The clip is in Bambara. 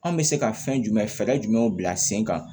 An bɛ se ka fɛn jumɛn fɛɛrɛ jumɛnw bila sen kan